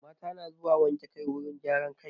Mata na zuwa wanke kai wurin gyaran kai.